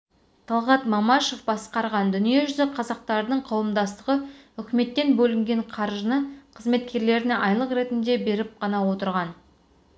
талғат мамашев басқарған дүниежүзі қазақтарының қауымдастығы үкіметтен бөлінген қаржыны қызметкерлеріне айлық ретінде беріп ғана отырған